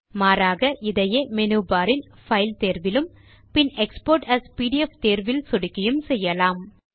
மாறாக இதையே menu bar இல் பைல் தேர்விலும் பின் எக்ஸ்போர்ட் ஏஎஸ் பிடிஎஃப் தேர்விலும் சொடுக்கியும் செய்யலாம்